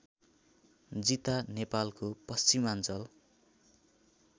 जिता नेपालको पश्चिमाञ्चल